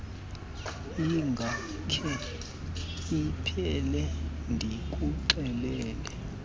ingakhe iphele ndikuxelele